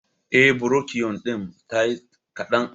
Eh, burokiyo din tayi kaɗan